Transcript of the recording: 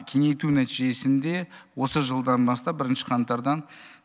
кеңейту нәтижесінде осы жылдан бастап бірінші қаңтардан